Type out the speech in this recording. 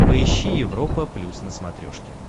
поищи европа плюс на смотрешке